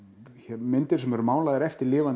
myndir sem eru málaðar eftir lifandi